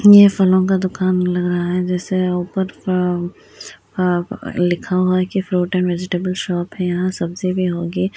यह फलों का दुकान लग रहा है जैसे ऊपर अ अ अ लिखा हुआ है की फ्रूट एण्ड वेजीटेबल्स शॉप है यहाँ सब्जी भी होगी।